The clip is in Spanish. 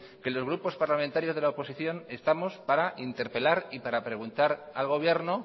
que los grupos parlamentarios de la oposición estamos para interpelar y para preguntar al gobierno